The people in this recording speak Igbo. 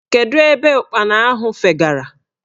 Kedu ebe ụkpana ahụ fegara?